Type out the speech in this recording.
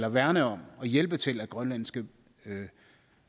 at værne om og hjælpe til at grønlandske